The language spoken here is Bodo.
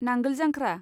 नांगोल जांख्रा